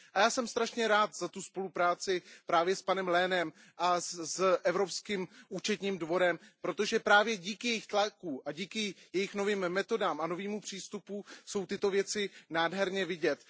Já jsem moc rád, za tu spolupráci s panem Lehnem a s Evropským účetním dworem, protože právě díky jejich tlaku a díky jejich novým metodám a novému přístupu jsou tyto věci nádherně vidět.